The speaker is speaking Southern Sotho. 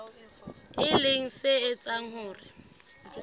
e leng se etsang hore